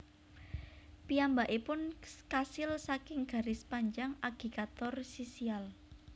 Piyambakipun kasil saking garis panjang agigator sisial